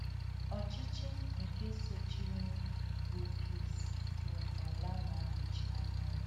Ọchịchị nke sochirinụ bụ Gris, bụ́ nke ọla na - anọchi anya ya.